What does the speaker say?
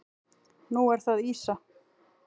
Nú er það ýsa.